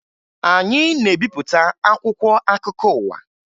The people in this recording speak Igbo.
Anyị na-ebipụta akwụkwọ akụkọ ụwa